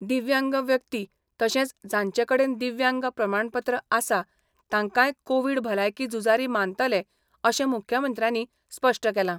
दिव्यांग व्यक्ती तशेंच जांचे कडेन दिव्यांग प्रमाणपत्र आसा तांकांय कोवीड भलायकी झुजारी मानतले अशें मुख्यमंत्र्यांनी स्पश्ट केलां.